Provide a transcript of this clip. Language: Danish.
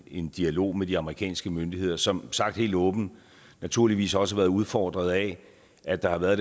en dialog med de amerikanske myndigheder som sagt helt åbent naturligvis også har været udfordret af at der har været